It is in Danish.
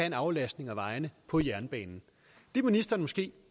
en aflastning af vejene på jernbanen det er ministeren måske